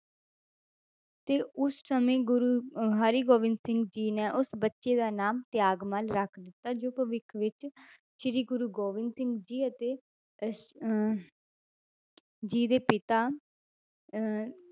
ਤੇ ਉਸ ਸਮੇਂ ਗੁਰੂ ਅਹ ਹਰਿਗੋਬਿੰਦ ਸਿੰਘ ਜੀ ਨੇ ਉਸ ਬੱਚੇ ਦਾ ਨਾਮ ਤਿਆਗਮੱਲ ਰੱਖ ਦਿੱਤਾ ਜੋ ਭਵਿੱਖ ਵਿੱਚ ਸ੍ਰੀ ਗੁਰੂ ਗੋਬਿੰਦ ਸਿੰਘ ਜੀ ਅਤੇ ਅਹ ਅਹ ਜੀ ਦੇ ਪਿਤਾ ਅਹ